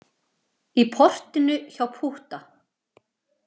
Í portinu hjá Pútta.